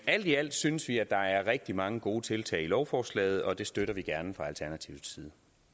alt i alt synes vi at der er rigtig mange gode tiltag i lovforslaget og det støtter vi gerne fra alternativets